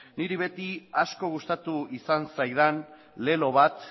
niri beti asko gustatu izan zaidan lelo